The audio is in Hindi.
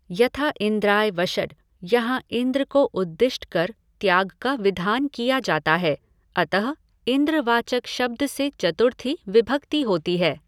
यथा इन्द्राय वषड यहाँ इन्द्र को उद्दिष्ट कर त्याग का विधान किया जाता है, अतः इन्द्रवाचक शब्द से चतुर्थी विभक्ति होती है।